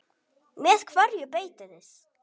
Með hverju beitið þið?